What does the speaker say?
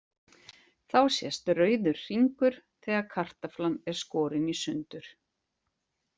Þá sést rauður hringur þegar kartaflan er skorin í sundur.